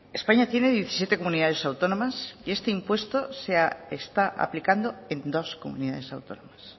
españa tiene diecisiete comunidades autónomas y este impuesto se está aplicando en dos comunidades autónomas